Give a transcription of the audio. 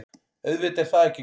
Auðvitað er það ekki gott.